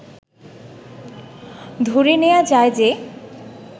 ধরে নেয়া যায় যে